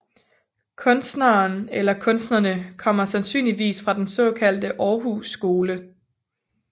Kunstneren eller kunstnerne kommer sandsynligvis fra den såkaldte Århus Skole